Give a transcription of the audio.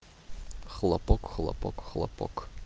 хлопок хлопок хлопок